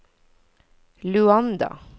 Luanda